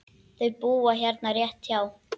Þau búa hérna rétt hjá.